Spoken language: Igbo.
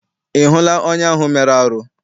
Ị hụla onye ahụ mere arụ?